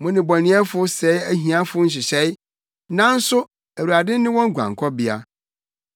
Mo nnebɔneyɛfo sɛe ahiafo nhyehyɛe, nanso, Awurade ne wɔn guankɔbea.